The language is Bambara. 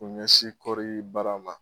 K'u ɲɛ sin kɔri baara ma